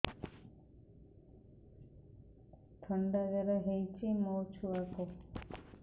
ଥଣ୍ଡା ଜର ହେଇଚି ମୋ ଛୁଆକୁ